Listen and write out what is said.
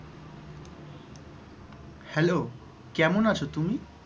hello কেমন আছ তুমি?